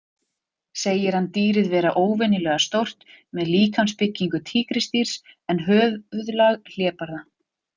Segir hann dýrið vera óvenju stórt, með líkamsbyggingu tígrisdýrs en höfuðlag hlébarða.